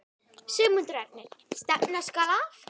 Sigmundur Ernir: Stefna skal að?